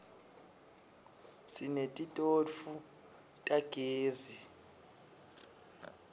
sinetitofu tagezi